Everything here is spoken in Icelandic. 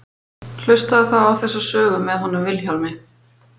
Hlustaðu þá á þessa sögu með honum Vilhjálmi.